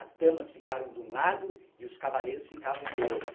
As damas ficaram de um lado e os cavalheiros ficavam do outro.